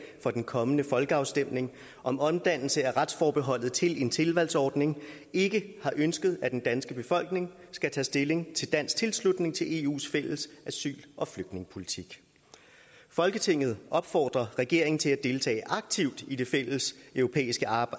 for den kommende folkeafstemning om omdannelse af retsforbeholdet til en tilvalgsordning ikke har ønsket at den danske befolkning skal tage stilling til dansk tilslutning til eus fælles asyl og flygtningepolitik folketinget opfordrer regeringen til at deltage aktivt i det fælles europæiske